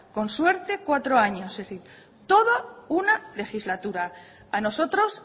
con suerte cuatro años es decir todo una legislatura a nosotros